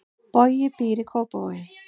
Bogi býr í Kópavogi.